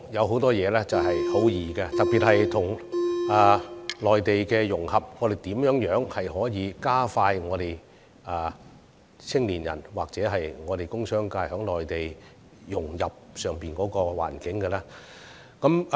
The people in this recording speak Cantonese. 很多事情說來容易，特別是談到跟內地融合、如何加快香港青年人和工商界融入內地環境等方面。